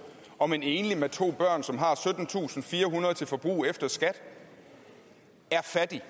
om en enlig med to børn som har syttentusinde og firehundrede kroner til forbrug efter skat er fattig